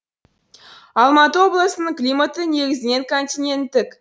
алматы облысының климаты негізінен континенттік